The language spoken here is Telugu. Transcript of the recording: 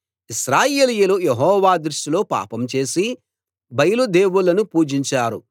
ఇశ్రాయేలీయులు యెహోవా దృష్టిలో పాపం చేసి బయలు దేవుళ్ళను పూజించారు